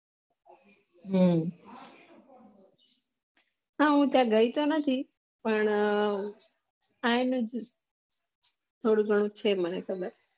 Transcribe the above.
હમમ sir હું ત્યાં ગઈ તો નથી પણ આ થોડું ઘણું છે મને ખબર